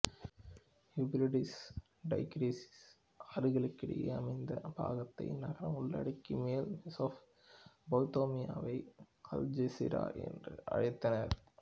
யூப்பிரடீஸ்டைகிரிஸ் ஆறுகளுக்கிடையே அமைந்த பாக்தாத் நகரம் உள்ளிட்ட மேல் மெசொப்பொத்தேமியாவை அல்ஜெசிரா என்றும் அழைத்தனர்